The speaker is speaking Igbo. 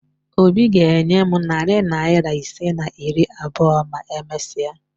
Obi ga-enye m narị naịra ise na iri abụọ ma e mesia